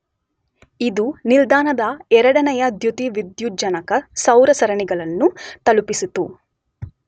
ಇದು ನಿಲ್ದಾಣದ ಎರಡನೆಯ ದ್ಯುತಿವಿದ್ಯುಜ್ಜನಕ ಸೌರ ಸರಣಿಗಳನ್ನು ತಲುಪಿಸಿತು.